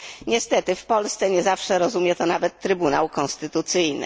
Niestety w Polsce nie zawsze rozumie to nawet Trybunał Konstytucyjny.